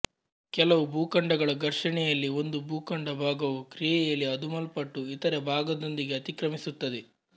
ಕೆಲವು ಭೂಖಂಡಗಳ ಘರ್ಷಣೆಯಲ್ಲಿ ಒಂದು ಭೂಖಂಡ ಭಾಗವು ಕ್ರಿಯೆಯಲ್ಲಿ ಅದುಮಲ್ಪಟ್ಟು ಇತರೆ ಭಾಗದೊಂದಿಗೆ ಅತಿಕ್ರಮಿಸುತ್ತದೆ